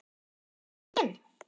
Veit enginn?